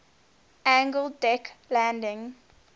angled deck landing